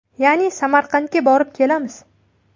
Ya’ni Samarqandga borib kelamiz.